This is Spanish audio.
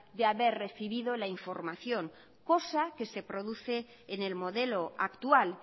de haber recibido la información cosa que se produce en el modelo actual